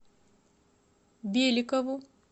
беликову